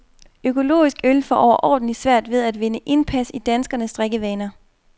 Økologisk øl får overordentlig svært ved at vinde indpas i danskernes drikkevaner.